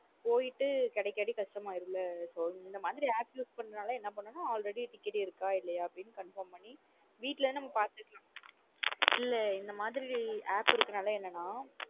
போய்ட்டு கிடைக்காட்டி கஷ்டமயுரும்ல so இந்த மாத்ரி app use பண்றனால என்ன பண்ணனும் already ticket இருக்க இல்லையா அப்டி Confirm பண்ணி வீட்ல பாத்துக்கலாம்.